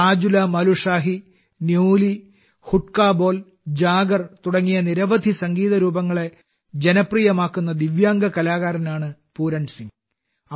റാജുലമലുഷാഹി newly ഹുഡ്കബോൽ Jaguar തുടങ്ങിയ വിവിധ സംഗീത രൂപങ്ങളെ ജനപ്രിയമാക്കുന്ന ദിവ്യാംഗ കലാകാരനാണ് പൂരൺസിംഗ്